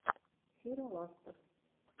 сираластор